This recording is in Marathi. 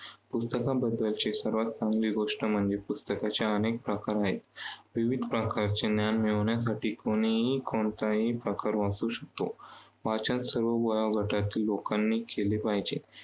पुस्तकांबद्दलचे सर्वांत चांगली गोष्ट म्हणजे पुस्तकांच्या अनेक प्रकार आहेत. विविध प्रकारचे ज्ञान मिळवण्यासाठी कुणीही कोणताही प्रकार वाचू शकतो. वाचन सर्व प्रकारच्या लोकांनी केले पाहिजे.